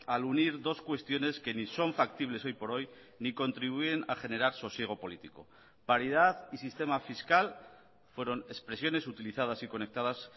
al unir dos cuestiones que ni son factibles hoy por hoy ni contribuyen a generar sosiego político paridad y sistema fiscal fueron expresiones utilizadas y conectadas